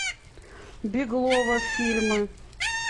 беглова фильмы